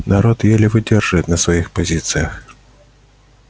народ еле выдерживает на своих позициях